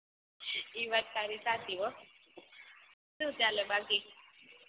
ઇ વાત તારી સાચી હો સુ ચાલે બાકી